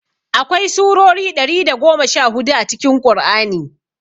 Akwai surori ɗari da goma sha hudu a cikin ƙur'ani